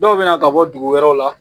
Dɔw bɛ na ka bɔ dugu wɛrɛw la